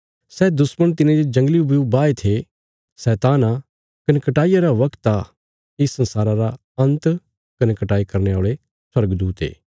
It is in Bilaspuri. सै दुश्मण तिने जे जंगली ब्यू बाहे थे शैतान आ कने कटाईया रा बगत आ इस संसारा रा अंत कने कटाई करने औल़े स्वर्गदूत ये